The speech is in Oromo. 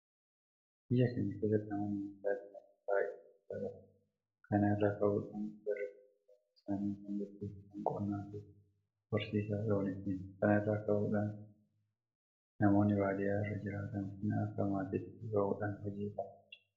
Biyya keenya keessatti namoonni baadiyyaa jiraatan baay'ina guddaa qabu. Kana irraa ka'uudhaan jarri kun jireenya isaanii kan gaggeeffatan Qonnaafi horsiisa looniitiini. Kana irraa ka'uudhaan namoonni baadiyyaa irra jiraatan kun akka maatiitti bahuudhaan hojii kana hojjetu.